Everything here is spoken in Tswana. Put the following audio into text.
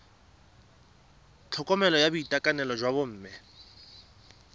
tlhokomelo ya boitekanelo jwa bomme